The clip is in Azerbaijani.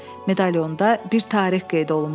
Medalionda bir tarix qeyd olunmuşdu.